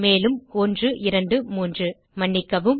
மேலும்123 மன்னிக்கவும்